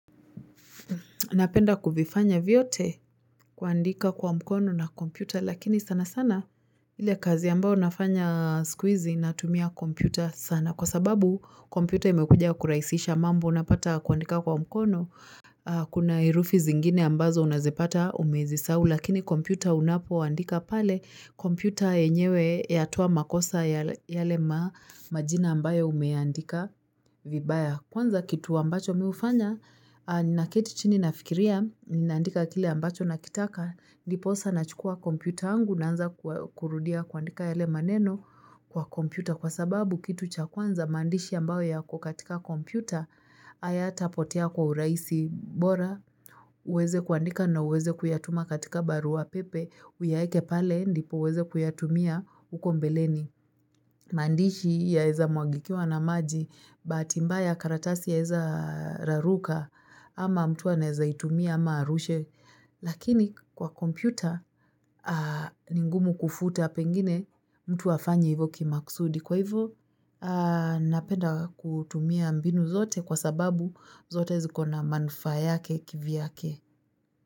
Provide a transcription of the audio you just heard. Napenda kuvifanya vyote kuandika kwa mkono na kompyuta lakini sana sana ile kazi ambayo nafanya siku hizi natumia kompyuta sana. Kwa sababu kompyuta imekuja kurahisisha mambo unapata kuandika kwa mkono. Kuna herufi zingine ambazo unazipata umezisahu lakini kompyuta unapoandika pale kompyuta yenyewe yatoa makosa yale majina ambayo umeandika vibaya. Kwanza kitu ambacho mimi hufanya, ninaketi chini nafikiria, ninaandika kile ambacho nakitaka, ndiposa nachukua kompyuta angu naanza kurudia kuandika yale maneno kwa kompyuta. Kwa sababu kitu cha kwanza, maandishi ambayo yak katika kompyuta, hayatapotea kwa urahisi bora, uweze kuandika na uweze kuyatuma katika barua pepe, uyaeke pale, nipo uweze kuyatumia, huko mbeleni. Maandishi yaeza mwagikiwa na maji Bahati mbaya karatasi yaeza raruka Ama mtu anaeza itumia ama arushe Lakini kwa kompyuta ni ngumu kufuta pengine mtu afanye hivo kimaksudi Kwa hivyo napenda kutumia mbinu zote Kwa sababu zote ziko na manufaa yake kivyake.